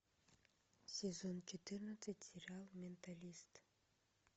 сезон четырнадцать сериал менталист